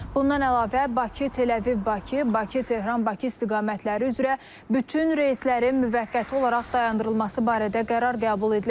Bundan əlavə Bakı-Təl-Əviv-Bakı, Bakı-Tehran-Bakı istiqamətləri üzrə bütün reyslərin müvəqqəti olaraq dayandırılması barədə qərar qəbul edilib.